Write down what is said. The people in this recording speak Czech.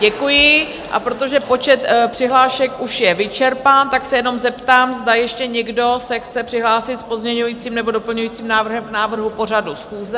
Děkuji, a protože počet přihlášek už je vyčerpán, tak se jenom zeptám, zda ještě někdo se chce přihlásit s pozměňujícím nebo doplňujícím návrhem k návrhu pořadu schůze?